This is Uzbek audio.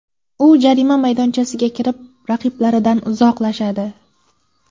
U jarima maydonchasiga kirib, raqiblaridan uzoqlashadi.